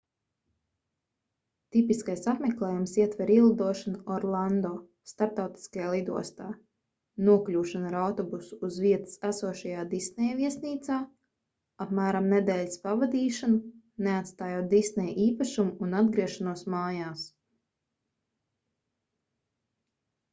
tipiskais apmeklējums ietver ielidošanu orlando starptautiskajā lidostā nokļūšanu ar autobusu uz vietas esošajā disneja viesnīcā apmēram nedēļas pavadīšanu neatstājot disneja īpašumu un atgriešanos mājās